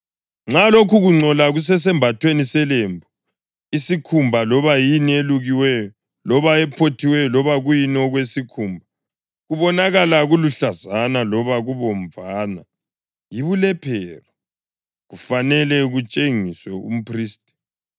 nxa lokhu kungcola kusesembathweni selembu, isikhumba, loba yini eyelukiweyo, loba ephothiweyo loba kuyini okwesikhumba, kubonakala kuluhlazana loba kubomvana, yibulephero; kufanele kutshengiswe umphristi.